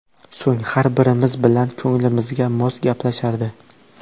So‘ng har birimiz bilan ko‘nglimizga mos gaplashardi.